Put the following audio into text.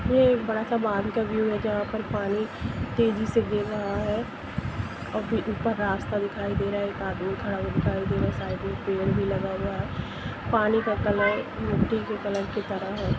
ये एक बड़ा सा बांध का व्यू है जहा पर पानी तेजी से गिर रहा हैऔर भी ऊपर रास्ता दिखाई दे रहा है एक आदमी खड़ा हुआ दिखाई दे रहा है साइड में पेड़ भी लगा हुआ है पानी का कलर मिटटी का कलर की तरह है|